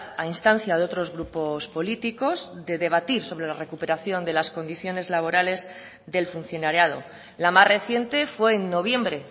a instancia de otros grupos políticos de debatir sobre la recuperación de las condiciones laborales del funcionariado la más reciente fue en noviembre